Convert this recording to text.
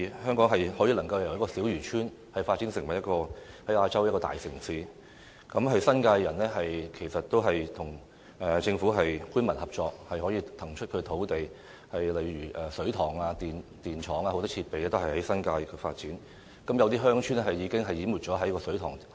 香港能夠由小漁村發展成為亞洲大城市，其實是新界人士與政府官民合作，騰出他們的土地，讓水塘、電廠等眾多設施能夠在新界發展，有些鄉村已經淹沒在水塘下。